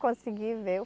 consegui ver